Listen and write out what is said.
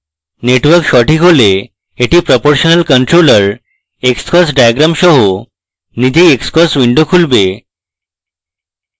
network সঠিক হলে এটি proportional controller xcos diagram সহ নিজেই xcos window খুলবে